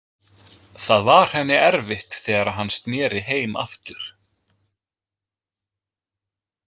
Það var henni erfitt þegar hann sneri heim aftur.